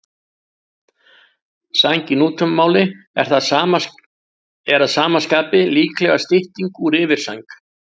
Sæng í nútímamáli er að sama skapi líklega stytting úr yfirsæng.